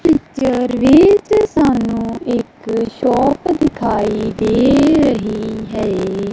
Picture ਵਿੱਚ ਸਾਨੂੰ ਇੱਕ ਸ਼ੌਪ ਦਿਖਾਈ ਦੇ ਰਹੀ ਹੈ।